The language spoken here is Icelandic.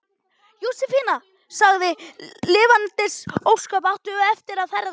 Jósefína sagði: Lifandis ósköp áttu eftir að ferðast.